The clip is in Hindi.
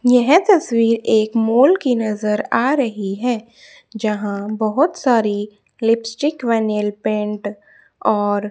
यह तस्वीर एक मॉल की नजर आ रही है जहां बहोत सारी लिपस्टिक व नेलपेंट और--